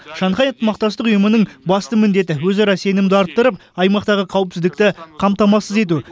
шанхай ынтымақтастық ұйымының басты міндеті өзара сенімді арттырып аймақтағы қауіпсіздікті қамтамасыз ету